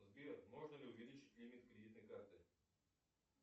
сбер можно ли увеличить лимит кредитной карты